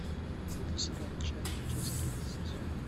вруби сериал чак часть тринадцать